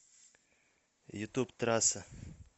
ютуб трасса